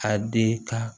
A den ka